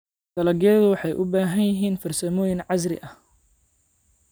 Dalagyadu waxay u baahan yihiin farsamooyin casri ah.